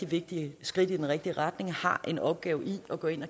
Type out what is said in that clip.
vigtige skridt i den rigtige retning har en opgave i at gå ind